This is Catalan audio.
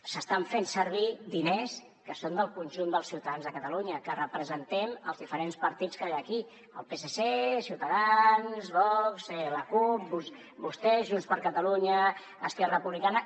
s’estan fent servir diners que són del conjunt dels ciutadans de catalunya que representem els diferents partits que hi ha aquí el psc ciutadans vox la cup vostès junts per catalunya esquerra republicana